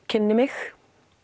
kynni mig